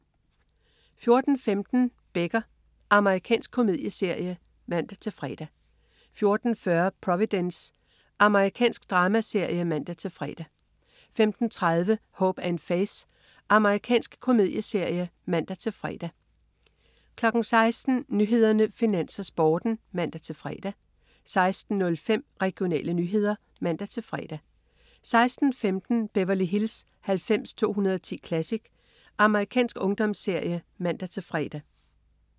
14.15 Becker. Amerikansk komedieserie (man-fre) 14.40 Providence. Amerikansk dramaserie (man-fre) 15.30 Hope & Faith. Amerikansk komedieserie (man-fre) 16.00 Nyhederne, Finans, Sporten (man-fre) 16.05 Regionale nyheder (man-fre) 16.15 Beverly Hills 90210 Classic. Amerikansk ungdomsserie (man-fre)